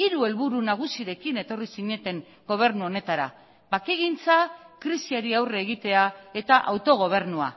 hiru helburu nagusirekin etorri zineten gobernu honetara bakegintza krisiari aurre egitea eta autogobernua